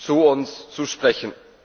zu uns zu sprechen.